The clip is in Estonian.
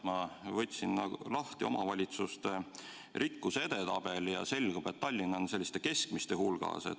Ma võtsin lahti omavalitsuste rikkuse edetabeli ja selgub, et Tallinn on selliste keskmiste hulgas.